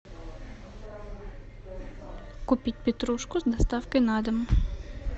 купить петрушку с доставкой на дом